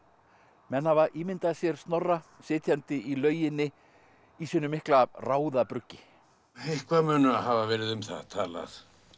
menn hafa ímyndað sér Snorra sitjandi í lauginni í sínu mikla ráðabruggi eitthvað mun hafa verið um það talað